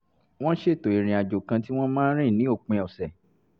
wọ́n ṣètò ìrìn àjò kan tí wọ́n máa rìn ní òpin ọ̀sẹ̀